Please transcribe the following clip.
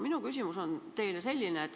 Minu küsimus on selline.